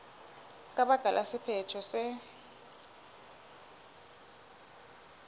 ka baka la sephetho se